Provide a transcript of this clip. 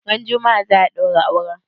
Ran juma'a za'a ɗaura auren?